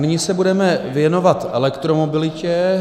Nyní se budeme věnovat elektromobilitě.